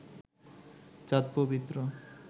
চাঁদ পবিত্র